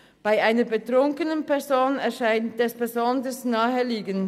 Bei einer betrunkenen Person erscheint es besonders naheliegend: